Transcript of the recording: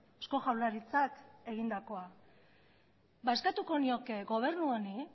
eusko jaurlaritzak egindakoa eskatuko nioke gobernu honi